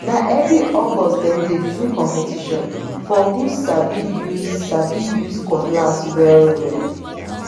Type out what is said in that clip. na every august dem dey do competition for who sabi use sabi use cutlass wellwell